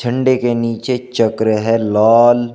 झंडे के नीचे चक्र है लाल।